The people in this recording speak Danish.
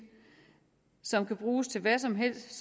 som kan bruges til hvad som helst